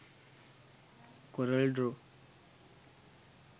corel draw